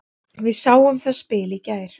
Við sáum það spil í gær.